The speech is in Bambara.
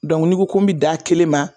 Dɔnku n'i n ko ko n me d'a kelen ma